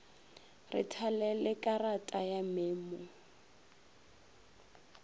re thalele karata ya memo